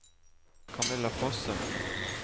Camilla Fossum